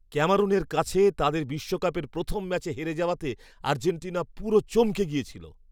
ক্যামেরুনের কাছে তাদের বিশ্বকাপের প্রথম ম্যাচ হেরে যাওয়াতে আর্জেন্টিনা পুরো চমকে গেছিল।